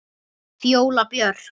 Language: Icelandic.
Fjóla Björk.